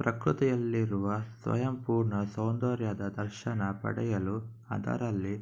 ಪ್ರಕೃತಿಯಲ್ಲಿರುವ ಸ್ವಯಂಪೂರ್ಣ ಸೌಂದರ್ಯದ ದರ್ಶನ ಪಡೆಯಲು ಅದರಲ್ಲಿ